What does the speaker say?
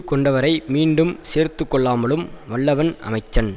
கொண்டவரை மீண்டும் சேர்த்துக்கொள்ளலும் வல்லவன் அமைச்சன்